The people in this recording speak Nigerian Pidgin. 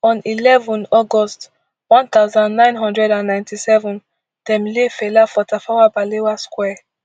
on eleven august one thousand, nine hundred and ninety-seven dem lay fela for tafawa balewa square